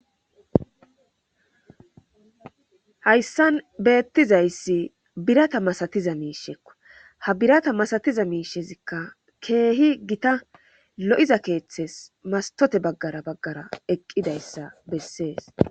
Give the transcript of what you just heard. hayssan beettizayssi birata masatiza miishekko ha birata masatiza miishezikka keehi gita lo7iza keeththes mastote baggara baggara eqqidayssa bessees